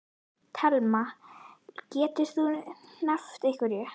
Telma: Getur þú nefnt einhverja?